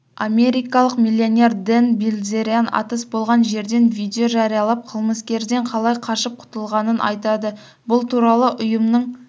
америкалық миллионердэн билзерян атыс болған жерден видео жариялап қылмыскерден қалай қашып құтылғанын айтады бұл туралы ұйымның